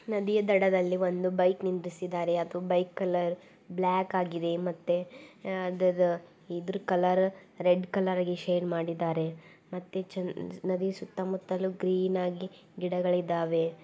ನದಿಯ ದಡದಲ್ಲಿ ಒಂದು ಬೈಕ್ ನಿದ್ರಾಸಿದ್ದಾರೆ ಅದು ಬೈಕ್ ಕಲರ್ ಬ್ಲಾಕ್ ಆಗಿದೆ ಮತ್ತೆ ಅದರ ಇದರ ಇದ್ರಕಲರ್ ರೆಡ್ ಕಲರ್ ಆಗಿ ಶೇಡ್ ಮಾಡಿದ್ದಾರೆ ಮತ್ತೆ ಚೆನ್ ನದಿಯ ಸುತ್ತ ಮುತ್ತಲು ಗ್ರೀನ್ ಆಗಿ ಗಿಡಗಳಿದ್ದವೇ .